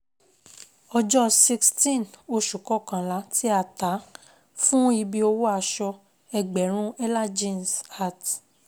̣Ojọ́ sixteen Oṣù kọkànlá ti a ta fun ibi òwò aṣ̣ọ, egḅèrún ̣èla Jeans at